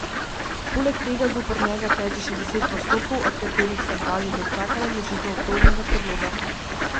Poleg tega zoper njega teče še deset postopkov, od katerih sta dva že dočakala vložitev obtožnega predloga.